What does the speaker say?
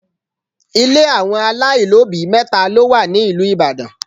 Ile àwọn aláìlóbìí mẹ́ta ló wà ní ìlú Ìbàdàn.